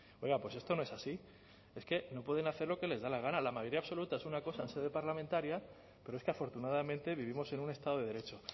oiga pues esto no es así es que no pueden hacer lo que les da la gana la mayoría absoluta es una cosa en sede parlamentaria pero es que afortunadamente vivimos en un estado de derecho